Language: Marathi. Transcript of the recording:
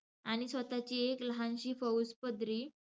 आणि स्वतःची एक लहानशी फौज पदरी,